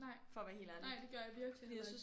Nej nej det gør jeg virkelig heller ikke